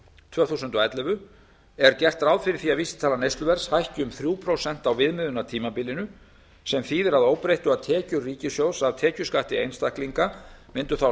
tvö þúsund og ellefu er gert ráð fyrir að vísitala neysluverðs hækki um þrjú prósent á viðmiðunartímabilinu sem þýðir að óbreyttu að tekjur ríkissjóðs af tekjuskatti einstaklinga mundu þá